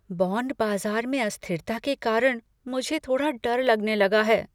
Bond बाजार में अस्थिरता के कारण मुझे थोड़ा डर लगने लगा है।